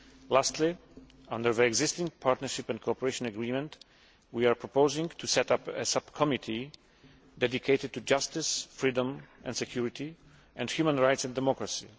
Lastly, under the existing partnership and cooperation agreement, we are proposing to set up a subcommittee dedicated to justice, freedom and security, and human rights and democracy.